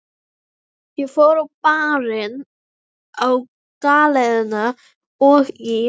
Ég fór á Barinn, á Galeiðuna og í